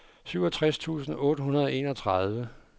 syvogtres tusind otte hundrede og enogtredive